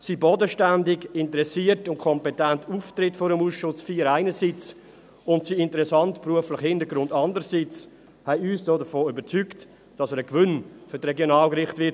Sein bodenständiger, interessierter und kompetenter Auftritt vor dem Ausschuss IV einerseits und sein interessanter beruflicher Hintergrund andererseits haben uns davon überzeugt, dass er ein Gewinn für die Regionalgerichte sein wird.